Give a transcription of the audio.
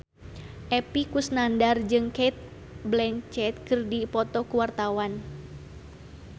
Epy Kusnandar jeung Cate Blanchett keur dipoto ku wartawan